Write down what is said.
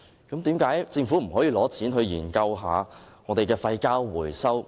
為甚麼政府不撥款研究廢膠回收？